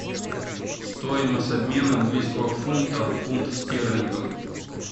стоимость обмена английского фунта в фунт стерлингов